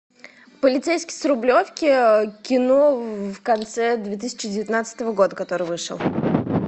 полицейский с рублевки кино в конце две тысячи девятнадцатого года который вышел